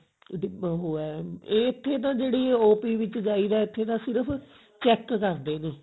ਉਹ ਹੈ ਇੱਥੇ ਤਾਂ ਜਿਹੜੀ OP ਵਿੱਚ ਜਾਈਦਾ ਇੱਥੇ ਤਾਂ ਸਿਰਫ check ਕਰਦੇ ਨੇ